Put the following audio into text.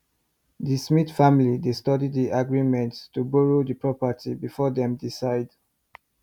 the smith family dey study the agreement to borrow the property before them decide